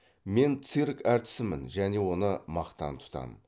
мен цирк әртісімін және оны мақтан тұтам